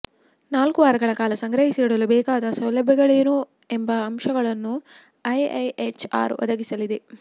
ನಾಲ್ಕು ವಾರಗಳ ಕಾಲ ಸಂಗ್ರಹಿಸಿಡಲು ಬೇಕಾದ ಸೌಲಭ್ಯಗಳೇನು ಎಂಬ ಅಂಶಗಳನ್ನು ಐಐಎಚ್ಆರ್ ಒದಗಿಸಲಿದೆ